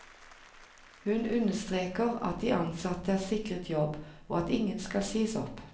Hun understreker at de ansatte er sikret jobb, og at ingen skal sies opp.